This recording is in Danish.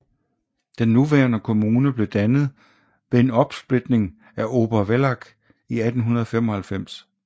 Den nuværende kommune blev dannet ved en opsplitning af Obervellach i 1895